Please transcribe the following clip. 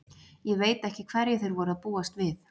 Ég veit ekki hverju þeir voru að búast við.